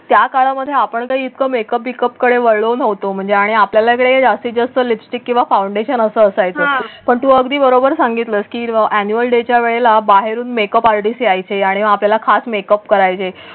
त्या काळामध्ये आपण घाईत मेकअप बिकअपकडे वळ होतो म्हणजे आणि आपल्याकडे जास्तीत जास्त लिपस्टिक किंवा फाउंडेशन असायचा. पण तू अगदी बरोबर सांगितलं की ऍन्युअल डे च्या वेळेला बाहेरून मेकअप आर्टिस्ट यायचे आणि आपल्या खास मेकअप करायचा